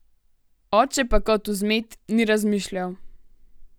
Oče pa kot vzmet, ni razmišljal.